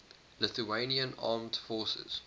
lithuanian armed forces